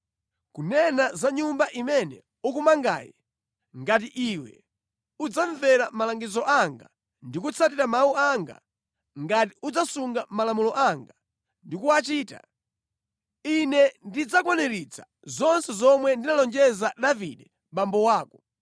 “Kunena za Nyumba imene ukumangayi, ngati iwe udzamvera malangizo anga ndi kutsatira mawu anga, ngati udzasunga malamulo anga ndi kuwachita, Ine ndidzakwaniritsa zonse zomwe ndinalonjeza Davide abambo ako.